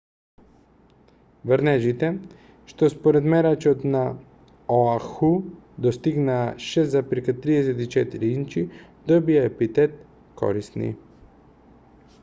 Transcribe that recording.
врнежите што според мерачот на оаху достигнаа 6,34 инчи добија епитет корисни